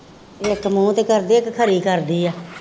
ਇੱਕ ਮੂੰਹ ਤੇ ਕਰਦੀ ਹੈ, ਇੱਕ ਖਰੀ ਕਰਦੀ ਹੈ